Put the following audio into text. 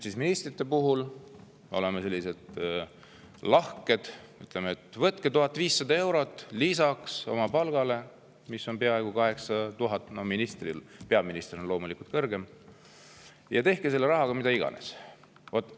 Aga ministrite puhul oleme lahked, ütleme, et võtke 1500 eurot lisaks oma palgale, mis on peaaegu 8000 eurot – peaministril on loomulikult kõrgem –, ja tehke selle rahaga mida iganes.